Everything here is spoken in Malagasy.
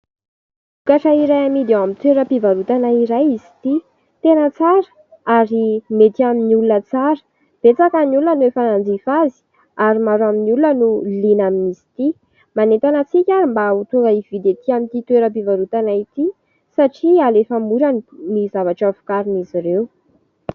Vokatra iray amidy ao amin'ny tsenam-pivarotana iray izy ity. Tena tsara ary mety amin'ny olona tsara. Betsaka ny olona efa nanjifa azy ary maro amin'ny olona no liana amin'izy ity. Manentana antsika ary mba ho tonga ividy etỳ amin'ity toeram-pivarotana ity satria alefa mora ny zavatra vokarin'izy ireo.